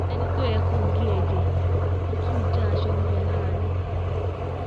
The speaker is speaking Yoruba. ẹni tó yẹ kó gé e jẹ́ kó tún já aṣọ mọ́ ẹ lára níta